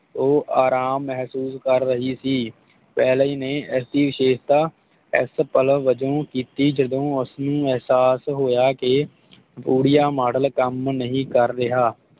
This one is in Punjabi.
ਉਹ ਆਰਾਮ ਮਹਿਸੂਸ ਕਰ ਰਹੀ ਸੀ ਵੈਲਜ਼ ਨੇ ਇਸ ਦੀ ਵਿਸ਼ੇਸ਼ਤਾ ਇਸ ਪਲਾਂ ਵਜੋਂ ਕੀਤੀ ਜਦੋਂ ਉਸ ਨੂੰ ਇਹਸਾਸ ਹੋਇਆ ਕੇ ਊਰੀਆਮੋਡਲ ਕੰਮ ਨਹੀਂ ਕਰ ਰਿਹਾ